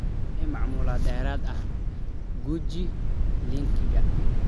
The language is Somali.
Wixii macluumaad dheeraad ah, guji linkiga